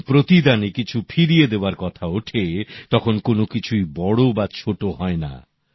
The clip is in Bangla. যখন প্রতিদানে কিছু ফিরিয়ে দেওয়ার কথা ওঠে তখন কোন কিছুই বড় বা ছোট হয়না